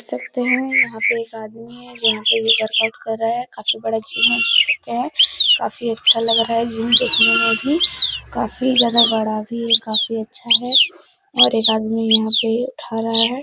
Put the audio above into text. देख सकते हैं। यहाँ पे एक आदमी है जो वर्कआउट कर रहा है। काफी बड़ा जिम है देख सकते हैं। काफी अच्छा लग रहा है जिम देखने में भी काफी ज्यादा बड़ा भी काफी अच्छा है और एक आदमी यहाँ पे उठा रहा है।